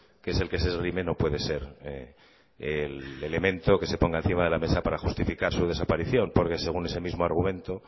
que es el que se esgrime no puede ser el elemento que se ponga encima de la mesa para justificar su desaparición porque según ese mismo argumento